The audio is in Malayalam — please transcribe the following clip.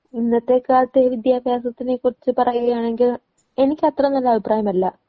ഇന്നത്തെ കാലത്തെ വിദ്യാഭ്യാസത്തിനെ കുറിച്ച് പറയുകയാണെങ്കിൽ എനിക്കത്ര നല്ല അഭിപ്രായമല്ല.